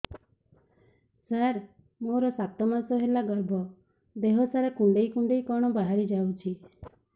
ସାର ମୋର ସାତ ମାସ ହେଲା ଗର୍ଭ ଦେହ ସାରା କୁଂଡେଇ କୁଂଡେଇ କଣ ବାହାରି ଯାଉଛି